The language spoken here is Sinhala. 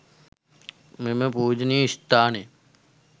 මෙම පූජනීය ස්ථානයට